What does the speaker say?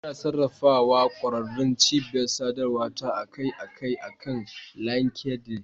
Ina sarrafa ƙwararrun cibiyar sadarwa ta a kai a kai akan LinkedIn.